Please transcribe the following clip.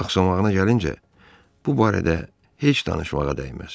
Axsağına gəlincə, bu barədə heç danışmağa dəyməz.